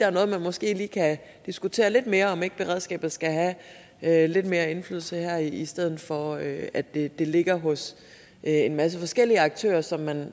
om at man måske kan diskutere lidt mere om ikke beredskabet skal have have lidt mere indflydelse her i stedet for at at det ligger hos en masse forskellige aktører som man